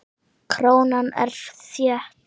Krónan er þétt.